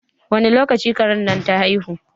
Wani lokaci karen nan ta haihu?